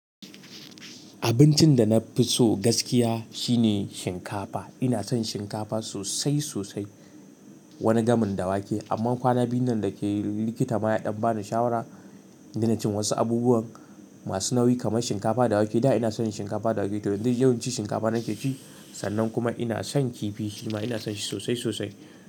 Abincin da na fi so gaskiya shine shinkafa. Ina son shinkafa sosai sosai, wani gamin da wake. Amma kwana biyun nan da ke likita ma ya ɗan bani shawara da na ci wasu abubuwan masu nauyi kamar shinkafa da wake. Da ina son shinkafa da wake. To don dai yau in ci shinkafa nake ci, sannan kuma ina son kifi. Shima ina son shi sosai sosai.